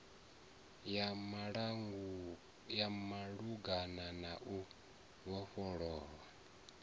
ya malugana na u vhofhololwa